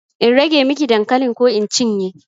In rage miki dankalin ko in cinye?